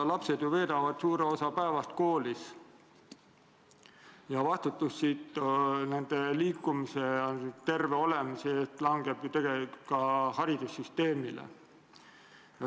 Lapsed veedavad ju suure osa päevast koolis ja vastutus nende liikumise ja terve olemise eest langeb tegelikult ka haridussüsteemile.